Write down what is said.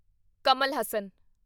Kamal Haasan